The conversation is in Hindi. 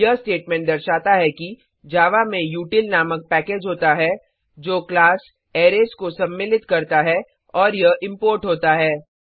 यह स्टेटमेंट दर्शाता है कि जावा में उतिल नामक पैकेज होता है जो क्लास अरेज को सम्मिलित करता है और यह इंपोर्ट होता है